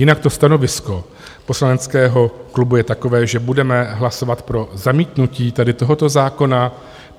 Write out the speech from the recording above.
Jinak to stanovisko poslaneckého klubu je takové, že budeme hlasovat pro zamítnutí tady tohoto zákona.